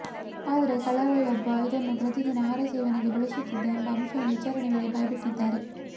ಆದರೆ ಕಳ್ಳರಲ್ಲೊಬ್ಬ ಇದನ್ನು ಪ್ರತಿದಿನದ ಆಹಾರ ಸೇವನೆಗೆ ಬಳಸುತ್ತಿದ್ದ ಎಂಬ ಅಂಶವನ್ನು ವಿಚಾರಣೆ ವೇಳೆ ಬಾಯ್ಬಿಟ್ಟಿದ್ದಾರೆ